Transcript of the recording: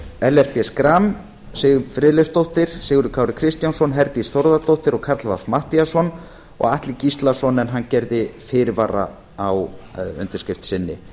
ellert b schram siv friðleifsdóttir sigurður kári kristjánsson herdís þórðardóttir karl fimmti matthíasson og atli gíslason en hann gerði fyrirvara á undirskrift sinni